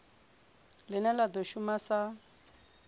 line la do shuma sa